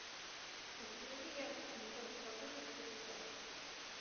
установи яркость на сорок процентов через час